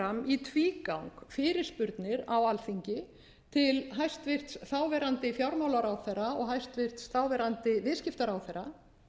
í tvígang fyrirspurnir á alþingi til hæstvirtur þáverandi fjármálaráðherra og hæstvirtur þáverandi viðskiptaráðherra